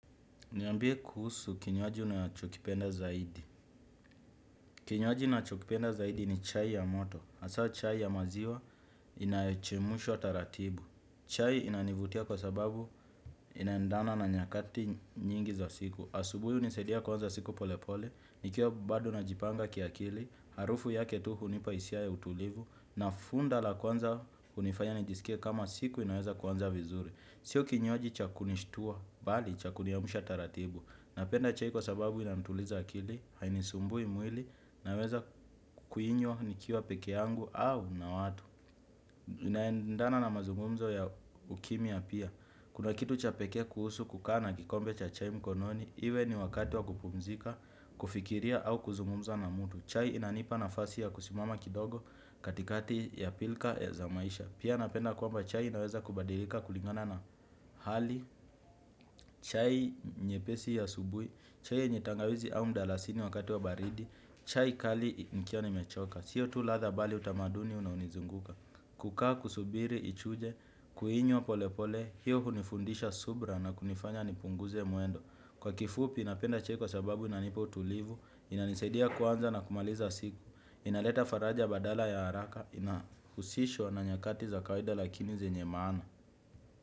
Niambie kuhusu kinywaji unachokipenda zaidi? Kinywaji ninachokipenda zaidi ni chai ya moto. Hawa chai ya maziwa inayochemshwa taratibu. Chai inanivutia kwa sababu inaendana na nyakati nyingi za siku. Asubuhi hunisadia kuanza siku pole pole, nikiwa bado najipanga kiakili, harufu yake tu hunipa hisia ya utulivu, na funda la kwanza hunifanya nijisikia kama siku inaweza kwanza vizuri. Sio kinywaji cha kunishtua, bali cha kuniamsha taratibu. Napenda chai kwa sababu inanituliza akili, hainisumbui mwili, naweza kuinywa nikiwa peke yangu au na watu. Inaendana na mazumumzo ya ukimya pia. Kuna kitu cha peke kuhusu kukaa kikombe cha chai mkononi, iwe ni wakati wa kupumzika, kufikiria au kuzungumza na mtu. Chai inanipa nafasi ya kusimama kidogo katikati ya pilka ya za maisha. Pia napenda kwamba chai inaweza kubadilika kulingana na hali. Chai nyepesi ya asubuhi, chai yenye tangawizi au mdalasini wakati wa baridi, chai kali nikiwa nimechoka. Siyo tu latha bali utamaduni unaonizunguka. Kukaa kusubiri ichuje, kuinywa pole pole, hiyo hunifundisha subira na kunifanya nipunguze mwendo. Kwa kifupi napenda chai kwa sababu inanipa utulivu, inanisaidia kuanza na kumaliza siku. Inaleta faraja badala ya haraka inahusishwa na nyakati za kaida lakini zenye maana.